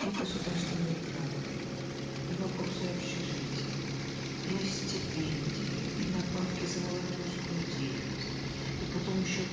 и государственные гранты и вопросы общежития и стипендии и надбавки за волонтерскую деятельность и потом еще